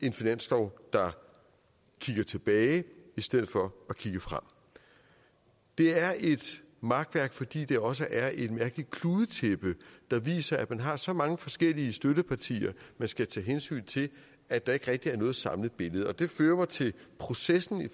en finanslov der kigger tilbage i stedet for at kigge frem det er et makværk fordi det også er et mærkeligt kludetæppe der viser at man har så mange forskellige støttepartier man skal tage hensyn til at der ikke rigtig er noget samlet billede det fører mig til processen i